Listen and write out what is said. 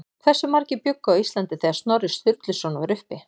Hversu margir bjuggu á Íslandi þegar Snorri Sturluson var uppi?